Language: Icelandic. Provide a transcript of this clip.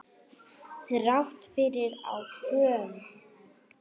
Þrátt fyrir áföll.